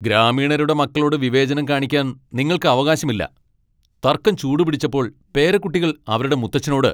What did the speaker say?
ഗ്രാമീണരുടെ മക്കളോട് വിവേചനം കാണിക്കാൻ നിങ്ങൾക്ക് അവകാശം ഇല്ല. തർക്കം ചൂടുപിടിച്ചപ്പോൾ പേരക്കുട്ടികൾ അവരുടെ മുത്തച്ഛനോട്